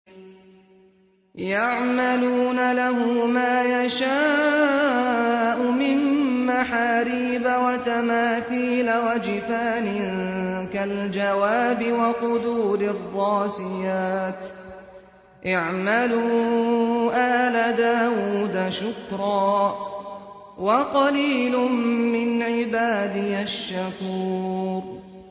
يَعْمَلُونَ لَهُ مَا يَشَاءُ مِن مَّحَارِيبَ وَتَمَاثِيلَ وَجِفَانٍ كَالْجَوَابِ وَقُدُورٍ رَّاسِيَاتٍ ۚ اعْمَلُوا آلَ دَاوُودَ شُكْرًا ۚ وَقَلِيلٌ مِّنْ عِبَادِيَ الشَّكُورُ